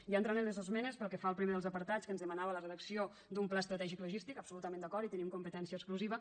ja entrant a les esmenes pel que fa al primer dels apartats que ens demanava la redacció d’un pla estratègic logístic absolutament d’acord hi tenim competència exclusiva